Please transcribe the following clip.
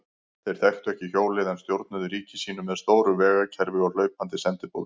Þeir þekktu ekki hjólið en stjórnuðu ríki sínu með stóru vegakerfi og hlaupandi sendiboðum.